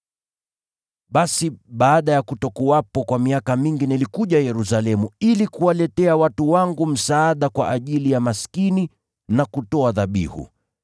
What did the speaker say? “Basi, baada ya kutokuwepo kwa miaka mingi nilikuja Yerusalemu ili kuwaletea watu wangu msaada kwa ajili ya maskini na kutoa dhabihu.